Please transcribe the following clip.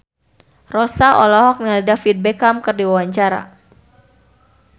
Rossa olohok ningali David Beckham keur diwawancara